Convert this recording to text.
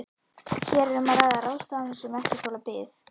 Hér er um að ræða ráðstafanir sem ekki þola bið.